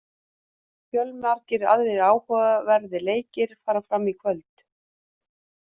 Fjölmargir aðrir áhugaverðir leikir fara fram í kvöld.